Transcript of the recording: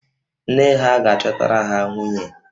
Nne ha ga-achọtara ha nwunye